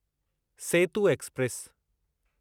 Setu express